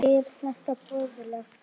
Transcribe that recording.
Er þetta boðlegt?